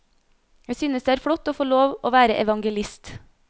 Jeg synes det er flott å få lov å være evangelist.